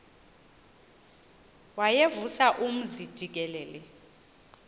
wayevusa umzi jikelele